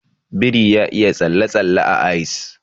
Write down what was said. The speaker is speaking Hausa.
Biri ya iya tsalle-tsalle a ice.